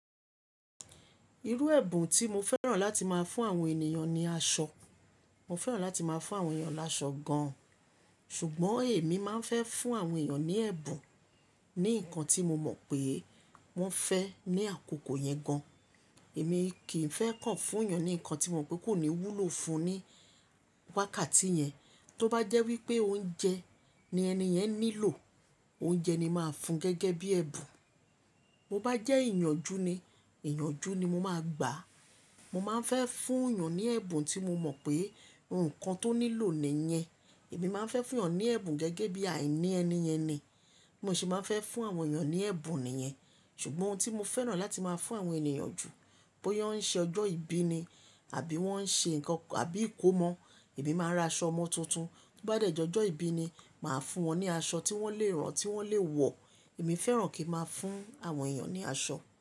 Irú ẹ̀bùn tí mo fẹ́ràn láti máa fún àwọn ènìyàn ni aṣọ. Mo fẹ́ràn láti máa fún àwọn ènìyàn láṣọ gan-an ṣùgbọ́n èmi máa ń fẹ́ fún àwọn ènìyàn ní ẹ̀bùn, ní nǹkan tí mo mọ̀ pé wọ́n fẹ́ ní àkókò yẹn gan. Èmi kì í fẹ́ kàn fún ènìyàn ní nǹkan tí mo mọ̀ pé kò ní wúlò fún un ní wákàtí yẹn. Tó bá jẹ́ wípé oúnjẹ ni ẹni yẹn nílò, oúnjẹ ni máa fún un gẹ́gẹ́ bí ẹ̀bùn. Mo bá jẹ́ ìyànjú ni, ìyànjú ni mo máa gbà. Mo máa ń fẹ́ fún ènìyàn ní ẹ̀bùn tí mo mọ̀ pé nǹkan tó nílò nìyẹn. Èmi máa ń fẹ́ fún ènìyàn ní ẹ̀bùn gẹ́gẹ́ bí àìní ẹni yẹn ni. Mo sì máa ń fẹ́ fún àwọn ènìyàn ní ẹ̀bùn nìyẹn. Ṣùgbọ́n ohun tí mo fẹ́ràn láti máa fún àwọn ènìyàn jù, bóyá wọ́n ń ṣe ọjọ́ ìbí ni àbí wọ́n ń ṣe nǹkan àbí ìkómọ, èmi máa ra aṣọ ọmọ tuntun. Tó bá dẹ̀ jẹ́ ọjọ́ ìbí ni, màá fún wọn ní aṣọ tí wọ́n lè rán, tí wọ́n lè wọ̀. Mo fẹ́ràn kí n máa fún àwọn ènìyàn ní aṣọ.